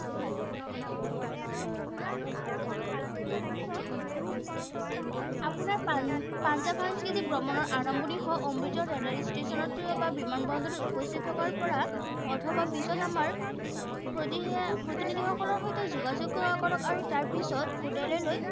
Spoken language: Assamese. আপোনাৰ পান পাঞ্জাৱ সাংস্কৃতিক ভ্ৰমণৰ আৰম্ভনি হয় অমৃতসৰৰ ৰেল ষ্টেচনত বা বিমান বন্দৰত উপস্থিত থকাৰ পৰা অথবা পিছত আমাৰ প্ৰদিহে প্ৰতিনিধিসকলৰ সৈতে যোগাযোগ কৰক, আৰু তাৰ পিচত হোটেললৈ